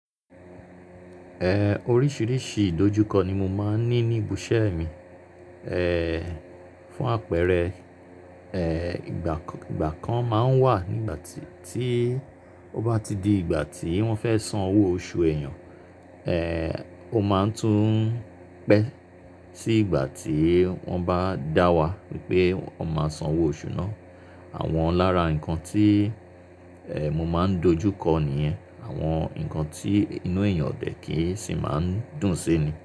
Eh, oríṣiríṣi ìdojúkọ ni mo máa ń ní ní ibù isẹ́ mi. Eh, fún àpẹẹrẹ, eh, ìgbà kan máa ń wà nígbà tí ó bá ti di ìgbà tí wọ́n fẹ́ san owó oṣù èèyàn, eh, ó máa ń tún pẹ́ sí ìgbà tí wọ́n bá dá wa wipé wọ́n máa san owó oṣù náà. Àwọn lára nǹkan tí, eh, mo máa ń dojú kọ niyẹn. Àwọn nǹkan tí inú èèyàn o dẹ̀ kì í sì máa ń dùn sí ni.